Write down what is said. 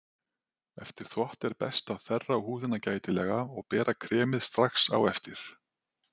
Eftir þvott er best að þerra húðina gætilega og bera kremið strax á eftir.